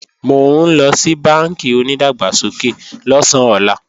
Mò ńlọ sí bánkì onìdàgbàsókè lọ̀sán ọlá